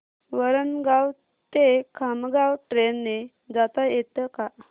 वरणगाव ते खामगाव ट्रेन ने जाता येतं का